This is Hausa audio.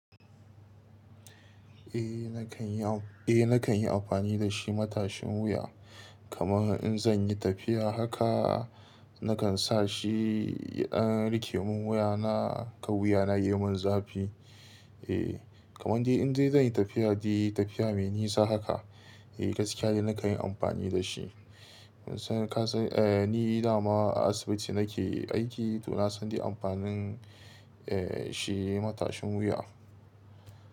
Eh nakan yi, eh nakan yi amfani da shi matashin wuya. Kamar in zan yi tafiya haka nakan sa shi an rike mun wuya na ka wuya na yi mun zafi. Eh kamar dai in zai zan yi tafiya dai tafiya mai nisa haka eh gaskiya ne nakan yi amfani da shi. San kasan eh ni da ma asibiti nake aiki to na san dai amfanin eh shi matashin wuya.